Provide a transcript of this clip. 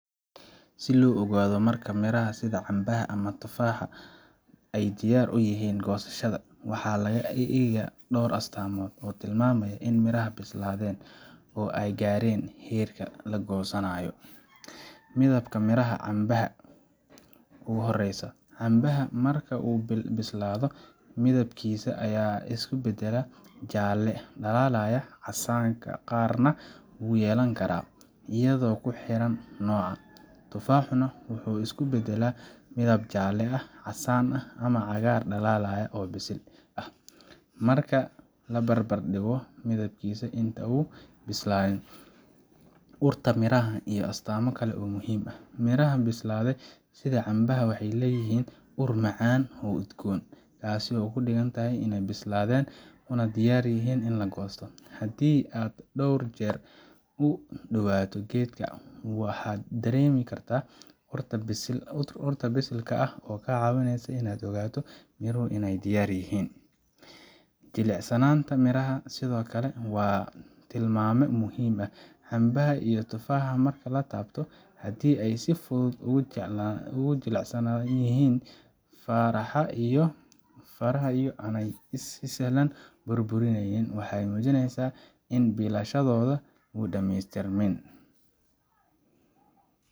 Si loo ogaado marka miraha sida cambaha ama tufaaxa ay diyaar u yihiin goosashada, waxaa la eega dhowr astaamood oo tilmaamaya in miraha bislaadeen oo ay gaareen heerkii la goosanayo. Midabka miraha waa calaamadda ugu horreysa. Cambaha marka uu bislaado midabkiisa ayaa isu beddela jaalle dhalaalaya, casaanka qaarna wuu yeelan karaa, iyadoo ku xiran nooca. Tufaaxuna wuxuu isu beddelaa midab jaalle ah, casaan, ama cagaar dhalaalaya oo bisil ah, marka la barbardhigo midabkiisa inta uu bislaayo. Urta miraha waa astaamo kale oo muhiim ah. Miraha bislaaday sida cambaha waxay leeyihiin ur macaan oo udgoon, kaas oo ka dhigan in ay bislaadeen una diyaar yihiin in la goosto. Haddii aad dhowr jeer u dhowaato geedka waxaad dareemi kartaa urta bisilka ah oo kaa caawinaysa inaad ogaato in miruhu diyaar yihiin. Jilicsanaanta miraha sidoo kale waa tilmaame muhiim ah. Cambaha iyo tufaaxa marka la taabto, haddii ay si fudud ugu jilicsan yihiin faraha iyadoo aanay si sahlan u burburayn, waxay muujinayaan in bislaanshahooda uu dhameystirmay.